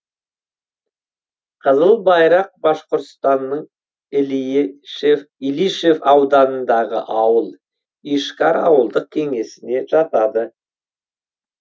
қызыл байрақ башқұртстанның илишев ауданындағы ауыл ишкар ауылдық кеңесіне жатады